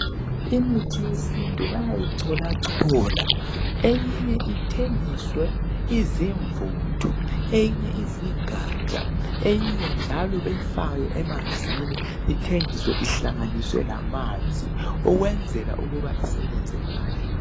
imithi yesintu bayayi colacola eyinye ithengiswe izimvuthu eyinye izingaja eyinye njalo beyifake emanzini ithengise ihlangane lamanzi ukuze isebenzekahle